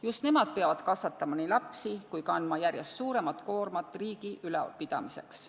Just nemad peavad kasvatama nii lapsi kui kandma järjest suuremat koormat riigi ülalpidamiseks.